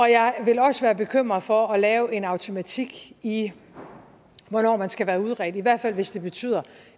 jeg vil også være bekymret for at lave en automatik i hvornår man skal være udredt i hvert fald hvis det betyder